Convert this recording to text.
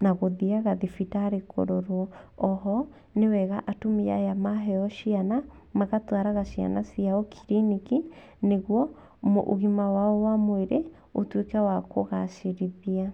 na gũthiaga thibitarĩ kũrorwo. O ho, nĩ wega atumia aya maheyo ciana, magatwaraga ciana ciao kiriniki, nĩguo, ũgima wao wa mwĩrĩ, ũtuĩke wa kũgacĩrithia.